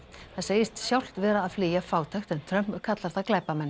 það segist sjálft vera að flýja fátækt en Trump kallar það glæpamenn